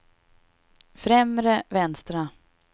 främre vänstra